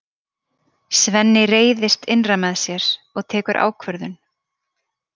Svenni reiðist innra með sér og tekur ákvörðun.